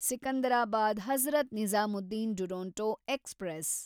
Secunderabad Hazrat Nizamuddin Duronto express